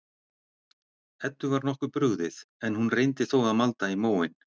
Eddu var nokkuð brugðið, en hún reyndi þó að malda í móinn.